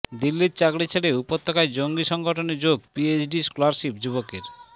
দিল্লির চাকরি ছেড়ে উপত্যকায় জঙ্গী সংগঠনে যোগ পিএইচডি স্কলারশিপ যুবকের